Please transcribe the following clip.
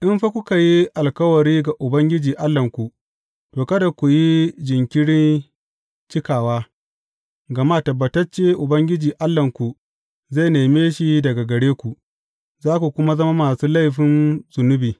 In fa kuka yi alkawari ga Ubangiji Allahnku, to, kada ku yi jinkirin cikawa, gama tabbatacce Ubangiji Allahnku zai neme shi daga gare ku, za ku kuma zama masu laifin zunubi.